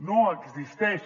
no existeix